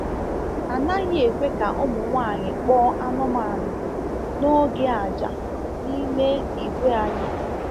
A naghị ekwe ka ụmụ nwanyị kpọọ anụmanụ n’oge àjà n’ime ìgwè anyị.